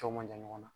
Cɛw ma jan ɲɔgɔn na